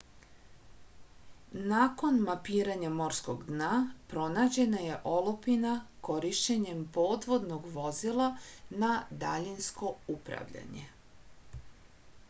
nakon mapiranja morskog dna pronađena je olupina korišćenjem podvodnog vozila na daljinsko upravljanje